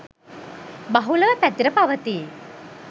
බහුලව පැතිර පවතී